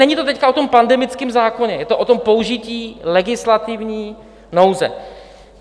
Není to teď o tom pandemickém zákoně, je to o tom použití legislativní nouze.